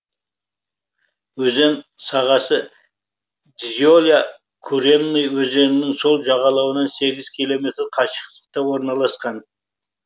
өзен сағасы дзеля куренный өзенінің сол жағалауынан сегіз километр қашықтықта орналасқан